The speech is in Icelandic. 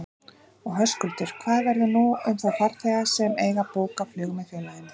Og Höskuldur, hvað verður nú um þá farþega sem eiga bókað flug með félaginu?